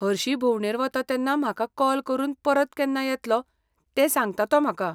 हरशीं भोंवडेर वता तेन्ना म्हाका कॉल करून परत केन्ना येतलो तें सांगता तो म्हाका.